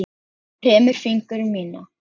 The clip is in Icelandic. Kremur fingur mína.